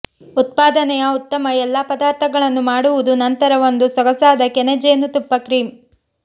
ಉತ್ಪಾದನೆಯ ಉತ್ತಮ ಎಲ್ಲಾ ಪದಾರ್ಥಗಳನ್ನು ಮಾಡುವುದು ನಂತರ ಒಂದು ಸೊಗಸಾದ ಕೆನೆ ಜೇನುತುಪ್ಪ ಕ್ರೀಮ್